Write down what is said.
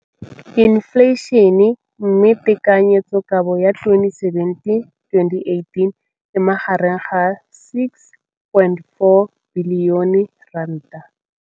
Infleišene, mme tekanyetsokabo ya 2017, 18, e magareng ga R6.4 bilione.